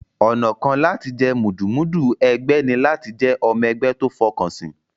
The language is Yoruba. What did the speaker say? Ọ̀nà kan láti jẹ́ mùdùmúdù ẹgbẹ́ ní láti jẹ́ ọmọ ẹgbẹ́ tó fọkànsìn.